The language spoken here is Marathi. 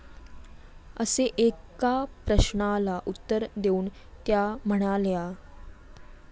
असे एका प्रश्नाला उत्तर देऊन त्या म्हणाल्या.